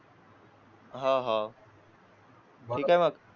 हा हो ठीक आहे मग